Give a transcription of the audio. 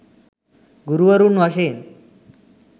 ගුරුවරුන් වශයෙන්